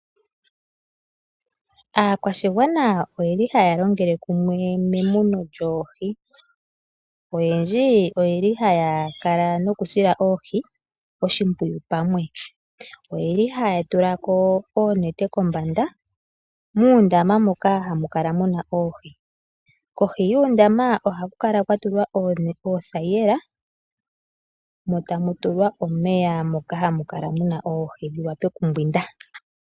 Aakwashigwana oyeli haya longele kumwe memuno lyoohi. Oyendji oyeli haya kala noku sila oohi oshimpwiyu pamwe. Oyeli haya tula ko oonete kombanda muundama moka hamu kala muna oohi. Kohi yuundama ohaku kala kwatulwa oothayila mo tamu tulwa omeya moka muna oohi dhiwape okumbwinda.